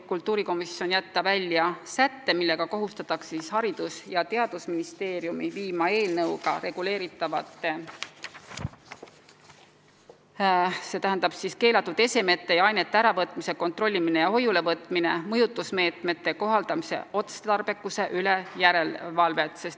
Kultuurikomisjon soovitab jätta välja sätte, millega kohustatakse Haridus- ja Teadusministeeriumi tegema järelevalvet eelnõuga reguleeritavate mõjutusmeetmete – s.o keelatud esemete ja ainete äravõtmine, kontrollimine ja hoiulevõtmine – kohaldamise otstarbekuse üle.